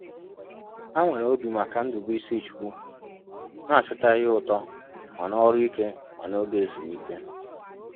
Ha nwere obi maka Ndubuisichukwu, na-achọta ihe ụtọ ma n’ọrụ ike ma n’oge ezumike.